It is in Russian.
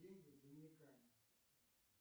деньги в доминикане